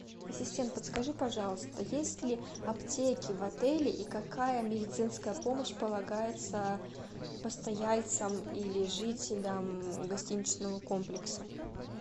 ассистент подскажи пожалуйста есть ли аптеки в отеле и какая медицинская помощь полагается постояльцам или жителям гостиничного комплекса